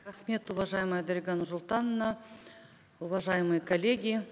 рахмет уважаемая дарига нурсултановна уважаемые коллеги